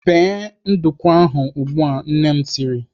"Bee nduku ahụ ugbu a!" Nne m tiri.